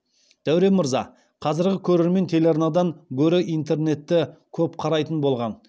дәурен мырза қазіргі көрермен телеарнадан гөрі интернетті көп қарайтын болған